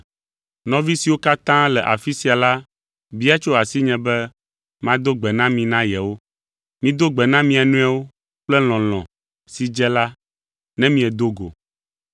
Nɔvi siwo katã le afi sia la bia tso asinye be mado gbe na mi na yewo. Mido gbe na mia nɔewo kple lɔlɔ̃ si dze la ne miedo go.